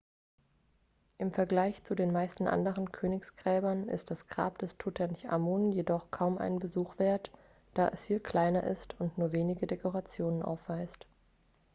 im vergleich zu den meisten anderen königsgräbern ist das grab des tutanchamun jedoch kaum einen besuch wert da es viel kleiner ist und nur wenige dekorationen aufweist